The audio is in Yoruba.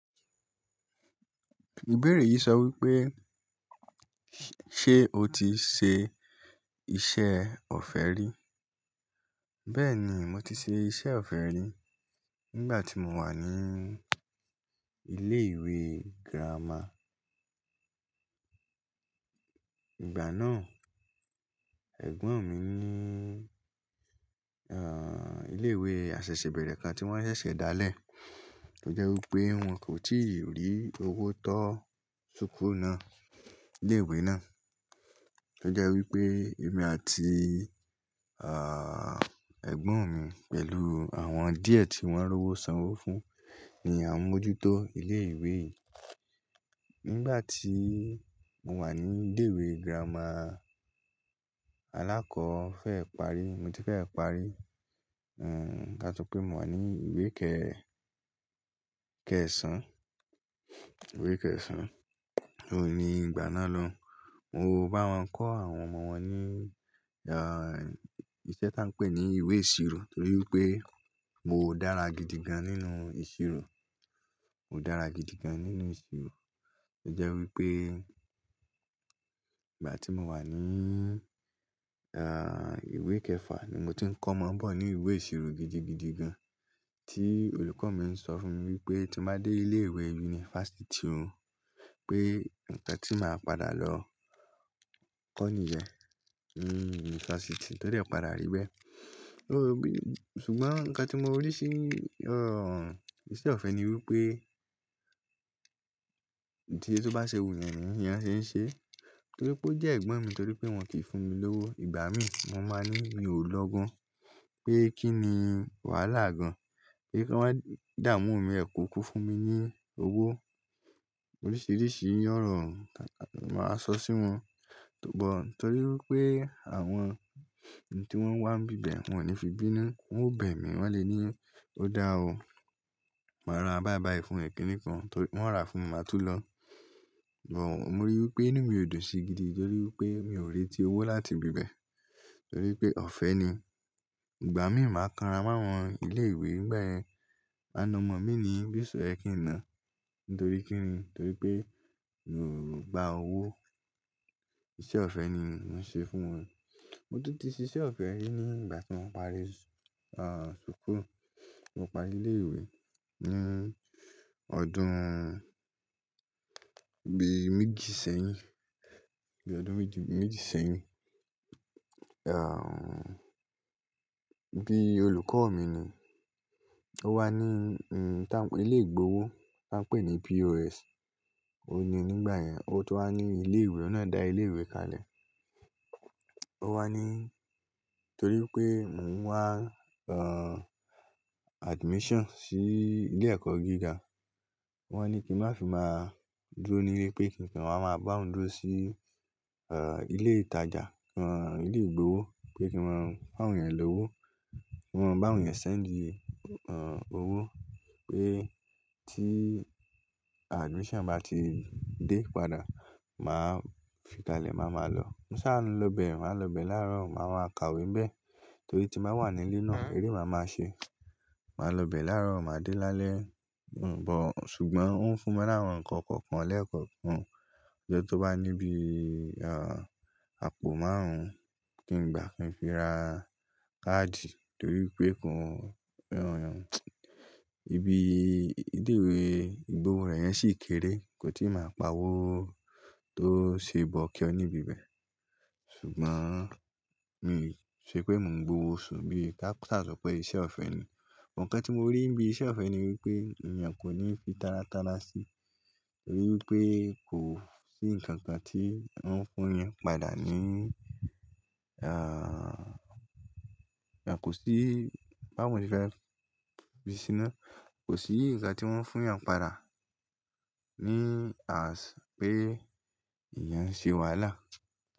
Ìbéèrè yìí sọ wípé ṣé o ti ṣe iṣẹ́ ọ̀fẹ́ rí? Bẹ́ẹ̀ni, mo ti ṣe iṣẹ́ ọ̀fẹ́ rí nígbà tí mo wà ní ilé ìwé girama. Ìgbà náà ẹ̀gbọ́n mi ní ah ilé ìwé àṣẹ̀ṣẹ̀bẹ̀rẹ̀ kan tí wọ́n ṣẹ̀ṣẹ̀ dá lé, tó jẹ́ wípé wọn kò tíì rí owó tó ṣùkú náà, ilé ìwé náà. Tó jẹ́ wípé èmi àti ah ẹ̀gbọ́n mi pẹ̀lú àwọn díẹ̀ tí wọ́n rí owó sanwó fún ni à ń mójútó ilé ìwé yìí. Nígbà tí mo wà ní ilé ìwé girama, alákọ̀ọ́ fẹ́ parí, mo ti fẹ́ parí, hm ká sọ pé mo wà ní ìwé kẹ-- kẹsàn-án, ìwé kẹsàn-án. Óun ní ìgbà náà lóun, mo bá wọn kọ́ àwọn ọmọ wọn ní ah iṣẹ́ tá ń pè ní ìwé ìṣirò torí wipé mo dára gidi gan nínú ìṣirò. Mo dára gidi gan nínú ìṣirò. Ó jẹ́ wípé ìgbà tí mo wà ní ah ìwé kẹfà ni mo ti ń kọ́mọ bọ̀ ní ìwé ìṣirò gidi, gidi gan tí olùkọ́ mi ń sọ fún mi wípé tí mo bá dé ilé ìwé yunifásítì o, pé ǹkan tí màá padà lọ kọ́ níyẹ̀n, ni yunifásítì, to dẹ padà rí bẹ́ẹ̀. Ó bí-- ṣùgbọ́n nǹkan tí mo rí sí ah iṣẹ́ ọ̀fẹ́ ni wípé tí ẹ tó bá ṣe wù yàn ní, èèyàn ṣé ń ṣe. Torí pé ó jẹ́ ẹ̀gbọ́n mi torí pé wọn kìí fún mi lówó. Ìgbà mí mo máa ní mi ò lọ́gán pé kí ni wàhálà gan pé kí wọ́n dáàmú mi ẹ̀kú kú fún mi ní owó. Oríṣiríṣi iyanràn màá sọ sí wọn. Ṣùgbọ́n torí wípé àwọn ǹ tí wọ́n ń wá bíbẹ̀ wọ́n ò ní fi bínú, wọn ò bẹ̀ mí, wọn lè ní ó dáa o, màá ra bayibayi fún ẹ kí nìkan torí wọ́n rà fún mi, màá tú lọ. Ṣùgbọ́n mo ríi wípé inú mi ò dùn sí i gidi torí wípé mi ò reti owó láti ibi bẹ́ẹ̀. Torí pé ọ̀fẹ́ ni. Ìgbà mí màá kanra mọ́ àwọn ilé ìwé ngbayẹn, màna ọmọ mi ni bí oṣe yẹ kí nàá nítorí kí ni? Torí pé mi o gba owó, iṣẹ́ ọ̀fẹ́ ni mò ń ṣe fún wọn. Mo tun tì ṣìṣẹ́ ọ̀fẹ́ rí ní ìgbà tí mo parí ah ṣùkú, mo parí ilé ìwé ní ọdún bí méjì sẹ́yìn, bí ọdún méjì, méjì sẹ́yìn. Ah bí olùkọ́ mi ni ó wá ní hm ta pe ilé ìgbowó tá ń pè ní POS. Ó ní nígbà yẹn, ó tun wá ní ilé ìwé, ọ́nà dà ilé ìwé kalẹ̀. Ó wá ní torí pé mò ń wá ah admission sí ilé ẹ̀kọ́ gíga. Wọ́n ní kí n má fi má dúró nílé pé kí n kan wáa ma bá wọn dúró sí ah ilé ìtajà, ah ilé ìgbowó pé kí n má fún àwọn èèyàn lówó. Kí n má bá àwọn èèyàn send ah owó pé tí admission bá ti dé padà, màá fi kalẹ̀, màá ma lọ. Mo sá lọ bẹ̀, màá lọ bẹ̀ láàárọ̀, màá máa kàwé bẹ̀ torí tí màá wà nílé náà eré màá máa ṣe. Màá lọ bẹ̀ láàárọ̀, màá dé lálẹ́. Ṣùgbọ́n ó ń fúnmi laawon nkọ̀kọ̀ọ̀kan lẹ́ẹ̀kọ̀kan. Ọjọ́ tó bá ní bí ah àpò márùn-ún kí n gbà kí n fi ra káàdì torí wipé kàn rọrùn. Ibi ilé ìwé ìgbowó rẹ̀ yẹn sì kéré, kò tí ì máa pa owó tó ṣe bọ́ kío níbi bẹ́ẹ̀. Ṣùgbọ́n mi ṣe pé mò ń gbowó oṣù bí ká-- sáà sọ pé iṣẹ́ ọ̀fẹ́ ni. Ǹkan tí mo rí níbi iṣẹ́ ọ̀fẹ́ ni wípé èèyàn kò ní fi tárátalrá sí i. Torí wípé kò sí ǹkan kan tí wọ́n fún èèyàn padà ní ah kò sí bá mo ṣe fẹ́ fi sí iná, kò sí ǹkan tí wọ́n fún èyán padà ní ah pé èyàn ń ṣe wàhálà.